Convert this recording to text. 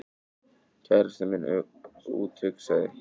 Kærastinn minn úthugsaði